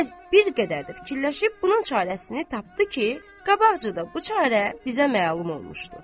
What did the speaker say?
Qəliz bir qədər də fikirləşib bunun çarəsini tapdı ki, qabaqcada bu çarə bizə məlum olmuşdu.